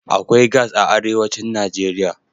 Akwai gas a arewacin Najeriya.